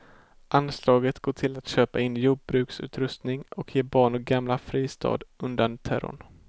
Anslaget går till att köpa in jordbruksutrustning och ge barn och gamla fristad undan terrorn.